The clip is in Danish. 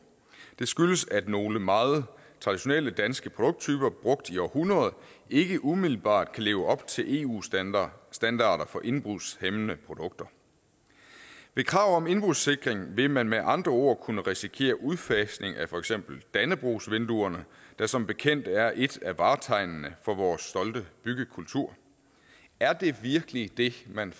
det skyldes at nogle meget traditionelle danske produkttyper brugt i århundreder ikke umiddelbart kan leve op til eu standarder standarder for indbrudshæmmende produkter med krav om indbrudssikring vil man med andre ord kunne risikere udfasning af for eksempel dannebrogsvinduerne der som bekendt er et af vartegnene for vores stolte byggekultur er det virkelig det man